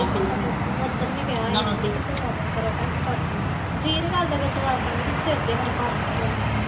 ਉਧਰ ਵੀ ਕਿਹਾ ਵਾ ਤੂੰ ਦੁਆ ਕਰਿਆ ਕਰ ਮੈ ਕਰਦੀ ਨੀ ਜੀਅ ਜਾ ਨੀ ਕਰਦਾ ਮੇਰਾ ਦੁਆ ਕਰਨ ਨੂੰ ਸਿਰ ਜਾ ਭਾਰਾ ਹੋ ਜਾਂਦਾ